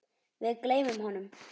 Við gleymum honum!